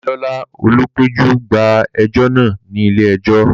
Damilola, olùpẹ̀jọ́, gba ẹjọ́ náà ní ilé ẹjọ́.